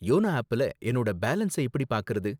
YONO ஆப்ல என்னோட balance எப்படி பார்க்கறது?